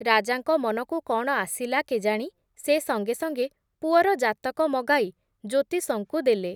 ରାଜାଙ୍କ ମନକୁ କ’ଣ ଆସିଲା କେଜାଣି, ସେ ସଙ୍ଗେ ସଙ୍ଗେ ପୁଅର ଜାତକ ମଗାଇ, ଜ୍ୟୋତିଷଙ୍କୁ ଦେଲେ ।